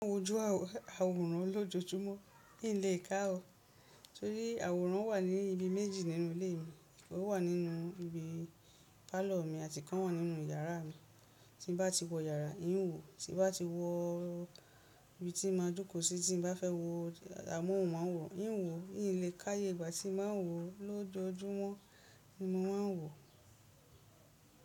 Mo ń wọju àwòrán lójojúmọ́, kí n lè ká o. Torí àwòrán wà ní ibi méjì nínú ilé mi. O wà nínú ìbí pálọ̀ mi àti ikan wà nínú yàrá mi. Tí n bá ti wọ yàrá, ń wo. Tí n bá ti wọ imi tí ń máa joko sí tí n bá fẹ́ wo amóhùnmáwòrán. N wo n lè ka eye ìgbà tí mo má wo lójoojúmọ́ ni mo máa wo.